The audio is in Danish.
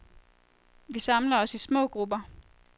Vi samler os i små grupper.